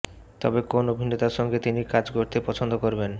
তবে কোন অভিনেতার সঙ্গে তিনি কাজ করতে পছন্দ করবেন